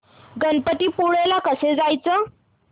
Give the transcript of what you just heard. गणपतीपुळे ला कसं जायचं